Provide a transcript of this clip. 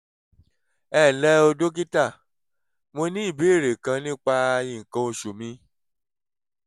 ẹ ǹlẹ́ o dókítà mo ní ìbéèrè kan nípa nǹkan oṣù mi